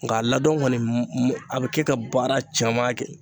Nka a ladon kɔni , a bɛ kɛ ka baara caman kɛ.